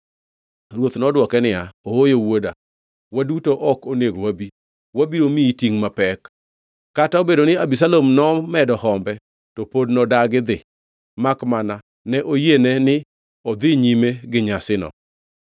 Ruoth nodwoke niya, “Ooyo wuoda.” Waduto ok onego wabi, wabiro miyi tingʼ mapek. Kata obedo ni Abisalom nomedo hombe, to pod nodagi dhi, makmana ne oyiene ni odhi nyime gi nyasino.